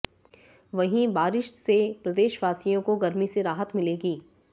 वहीं बारिश से प्रदेशवासियों को गर्मी से राहत मिलेगी